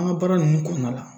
An ka baara ninnu kɔnɔna la